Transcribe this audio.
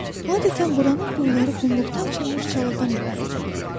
Adətən buranın quyuları qumluqda açılmış çalıdan ibarət olur.